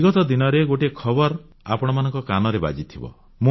ବିଗତ ଦିନରେ ଗୋଟିଏ ଖବର ଆପଣମାନଙ୍କ କାନରେ ବାଜିଥିବ